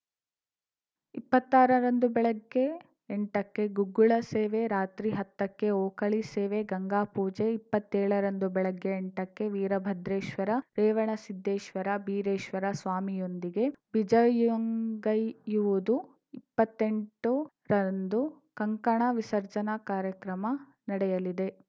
ಇಪ್ಪತ್ತಾರ ರಂದು ಬೆಳಗ್ಗೆ ಎಂಟ ಕ್ಕೆ ಗುಗ್ಗುಳ ಸೇವೆ ರಾತ್ರಿ ಹತ್ತಕ್ಕೆ ಓಕಳಿ ಸೇವೆ ಗಂಗಾಪೂಜೆ ಇಪ್ಪತ್ತೇಳ ರಂದು ಬೆಳಗ್ಗೆ ಎಂಟಕ್ಕೆ ವೀರಭದ್ರೇಶ್ವೇರ ರೇವಣಸಿದ್ದೇಶ್ವೇರ ಬೀರೇಶ್ವರ ಸ್ವಾಮಿಯೊಂದಿಗೆ ಬಿಜಯಂಗೈಯುವುದು ಇಪ್ಪತ್ತೆಂಟು ರಂದು ಕಂಕಣ ವಿಸರ್ಜನಾ ಕಾರ್ಯಕ್ರಮ ನಡೆಯಲಿದೆ